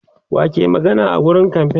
wa ke magana a wurin kamfain